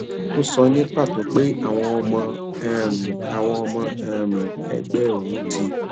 ó sọ ní pàtó pé àwọn ọmọ um àwọn ọmọ um ẹgbẹ òun ti